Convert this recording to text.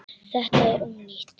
Þetta er ónýtt.